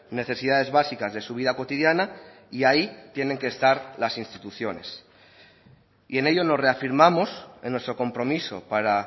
necesidades básicas de su vida cotidiana y ahí tienen que estar las instituciones y en ello nos reafirmamos en nuestro compromiso para